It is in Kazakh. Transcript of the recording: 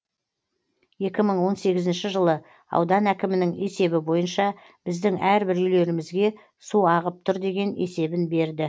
екі мың он сегізінші жылы аудан әкімінің есебі бойынша біздің әрбір үйлерімізге су ағып тұр деген есебін берді